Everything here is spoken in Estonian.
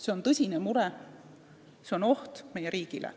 See on tõsine mure, see on oht meie riigile.